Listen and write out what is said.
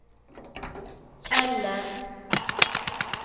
Kjeller